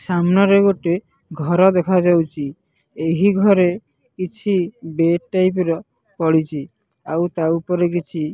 ସାମ୍ନାରେ ଗୋଟେ ଘର ଦେଖାଯାଉଚି ଏହି ଘରେ କିଛି ବେଡ଼ ଟାଇପ ର ପଡିଚି ଆଉ ତା ଉପରେ କିଛି।